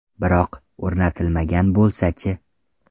Biroq, o‘rnatilmagan bo‘lsa-chi?